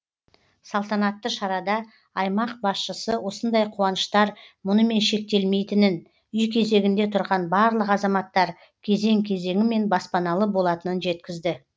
салтанатты шарада аймақ басшысы осындай қуаныштар мұнымен шектелмейтінін үй кезегінде тұрған барлық азаматтар кезең кезеңімен баспаналы болатынын жеткізді